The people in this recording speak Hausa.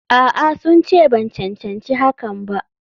A'a, sun ce ban cancanci hakan ba.